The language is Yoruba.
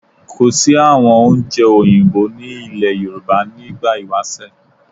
Kò sí àwọn oúnjẹ Òyìnbó ní ìlẹ̀ Yorùbá ní ìgbà ìwásẹ̀